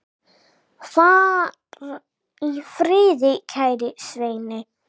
Far í friði, kæri Svenni.